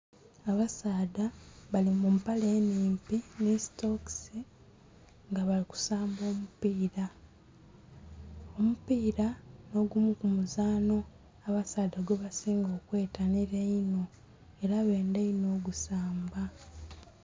Abasaadha bali mu mpale nnhimpi nhi sitokisi nga bali kusamba omupiira. Omupiira nh'ogumu ku muzaanho abasaadha gwebasinga okwetanhila einho. Ela bendha inho o'gusamba.